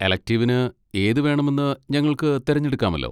എലെക്റ്റിവിന് ഏതുവേണമെന്ന് ഞങ്ങൾക്ക് തിരഞ്ഞെടുക്കാമല്ലോ?